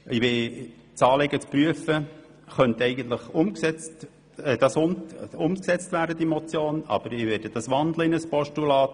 Diese Motion könnte eigentlich so umgesetzt werden, aber ich wandle sie in ein Postulat.